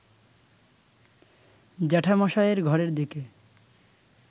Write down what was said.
জ্যাঠামশায়ের ঘরের দিকে